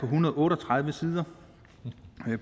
hundrede og otte og tredive sider